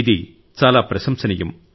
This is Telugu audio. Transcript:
ఇది చాలా ప్రశంసనీయం